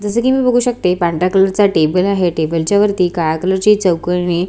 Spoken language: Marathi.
जस कि मी बघू शकते पांढऱ्या कलर चा टेबल आहे टेबल च्या वरती काळ्या कलर चे चौकोनी--